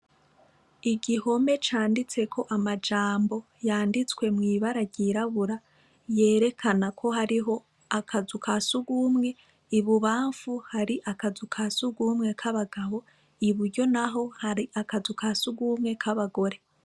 Igihome canditseko amajambo yanditswe mw'ibara ryirabura yerekana ko hariho akazu kasugwumwe; ibubamfu hari akazu kasugumwe kabagabo, iburyo naho hari akazu kasugwumwe kabagore.